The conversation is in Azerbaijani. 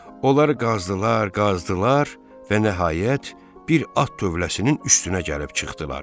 Onlar qazdılar, qazdılar və nəhayət, bir at tövləsinin üstünə gəlib çıxdılar.